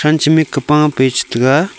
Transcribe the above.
than ke mikche pa a pe che taiga.